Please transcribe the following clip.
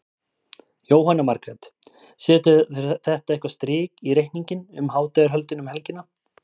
Jóhanna Margrét: Setur þetta eitthvað strik í reikninginn um hátíðarhöldin um helgina?